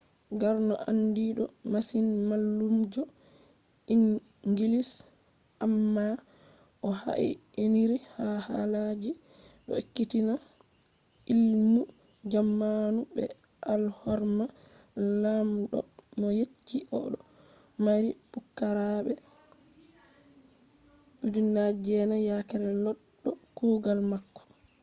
karno andido masin mallumjo inngilis amma o haa'iniri ha halaji do ekkitina illmu jamanu be alhorma lamdo mo yecci o do mari pukaraabe 9000 yake loddo kugal mako